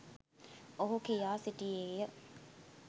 ඔහු කියා සිටියේය.